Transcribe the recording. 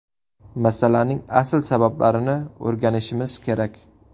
Masalaning asl sabablarini o‘rganishimiz kerak.